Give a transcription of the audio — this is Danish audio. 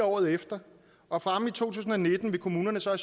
året efter og fremme i to tusind og nitten vil kommunerne så